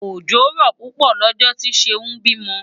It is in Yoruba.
Òjò rọ̀ púpọ̀ lọ́jọ́ tí Ṣeún bímọ.